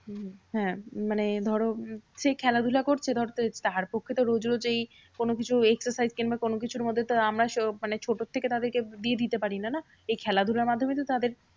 হম হ্যাঁ মানে ধরো উম সে খেলাধুলা করছে ধরতে তার পক্ষে তো রোজ রোজ এই কোনোকিছু exercise কিংবা কোনোকিছুর মধ্যে আমরা মানে ছোট থেকে তাদেরকে দিয়ে দিতে পারিনা না? এই খেলাধুলার মাধ্যমেই তো তাদের